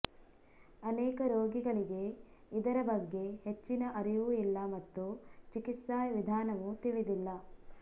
ಅನೇಕ ರೋಗಿಗಳಿಗೆ ಇದರ ಬಗ್ಗೆ ಹೆಚ್ಚಿನ ಅರಿವು ಇಲ್ಲ ಮತ್ತು ಚಿಕಿತ್ಸಾ ವಿಧಾನವೂ ತಿಳಿದಿಲ್ಲ